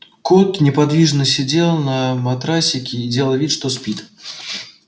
кот неподвижно сидел на матрасике и делал вид что спит